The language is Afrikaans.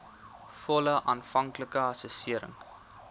volle aanvanklike assessering